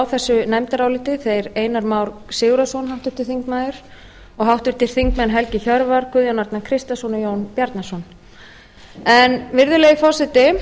þessu nefndaráliti þeir einar már sigurðarson háttvirtur þingmaður og háttvirtir þingmenn helgi hjörvar guðjón arnar kristjánsson og jón bjarnason virðulegi forseti